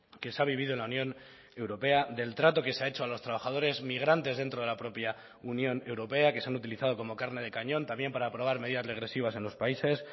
que se ha vivido en la unión europea del trato que se ha hecho a los trabajadores migrantes dentro de la propia unión europea que se han utilizado como carne de cañón también para aprobar medidas regresivas en los países